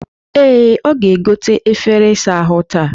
Ee, ọ ga-egote efere isa ahụ taa